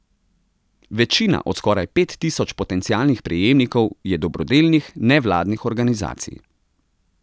Večina od skoraj pet tisoč potencialnih prejemnikov je dobrodelnih, nevladnih organizacij.